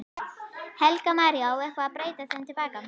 Helga María: Á eitthvað að breyta þeim til baka?